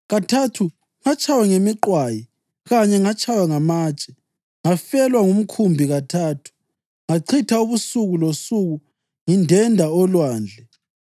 Kathathu ngatshaywa ngemiqwayi, kanye ngatshaywa ngamatshe, ngafelwa ngumkhumbi kathathu, ngachitha ubusuku losuku ngindenda olwandle,